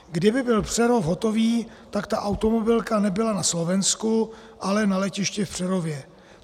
Kdyby byl Přerov hotový, tak ta automobilka nebyla na Slovensku, ale na letišti v Přerově.